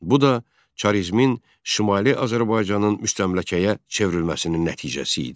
Bu da çarizmin Şimali Azərbaycanın müstəmləkəyə çevrilməsinin nəticəsi idi.